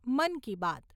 Mann Ki Baat